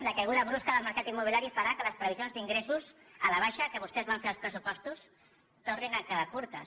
la caiguda brusca del mercat immobiliari farà que les previsions d’ingressos a la baixa que vostès van fer als pressupostos tornin a quedar curtes